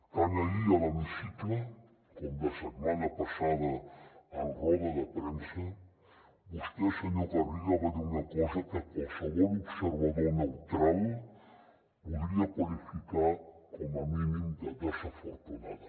tant ahir a l’hemicicle com la setmana passada en roda de premsa vostè senyor garriga va dir una cosa que qualsevol observador neutral podria qualificar com a mínim de desafortunada